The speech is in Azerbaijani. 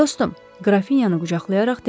Dostum, qrafinyanı qucaqlayaraq dedi.